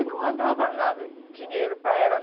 E não mandava nada de dinheiro para ela.